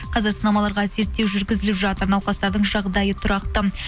қазір сынамаларға зерттеу жүргізіліп жатыр науқастардың жағдайы тұрақты